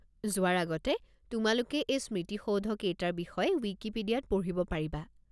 যোৱাৰ আগতে তোমালোকে এই স্মৃতিসৌধকেইটাৰ বিষয়ে ৱিকিপিডিয়াত পঢ়িব পাৰিবা।